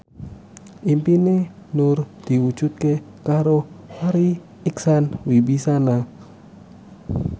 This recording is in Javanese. impine Nur diwujudke karo Farri Icksan Wibisana